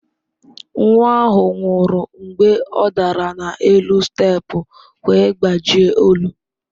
Nwa ahụ nwụrụ mgbe ọ dara n'elu steepụ wee gbajie olu.